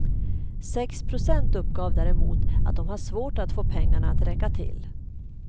Sex procent uppgav däremot att de har svårt att få pengarna att räcka till.